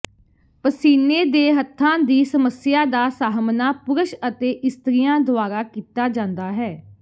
ਪਸੀਨੇ ਦੇ ਹੱਥਾਂ ਦੀ ਸਮੱਸਿਆ ਦਾ ਸਾਹਮਣਾ ਪੁਰਸ਼ ਅਤੇ ਇਸਤਰੀਆਂ ਦੁਆਰਾ ਕੀਤਾ ਜਾਂਦਾ ਹੈ